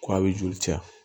Ko a bɛ joli caya